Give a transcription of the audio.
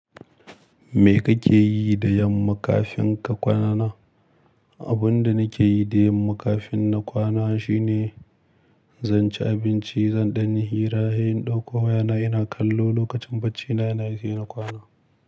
Me kake yi da yamma kafin ka kwana? Abun da nake yi da yamma kafin na kwana shine zan ci abinci, zan ɗan yi hira, sai in ɗakko wayana ina kallo lokacin baccina nayi sai na kwana.